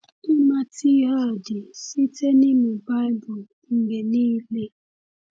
Ịmata ihe a dị site n’ịmụ Baịbụl mgbe niile.